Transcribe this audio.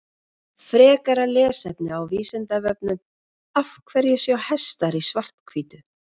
Frekara lesefni á Vísindavefnum Af hverju sjá hestar í svart-hvítu?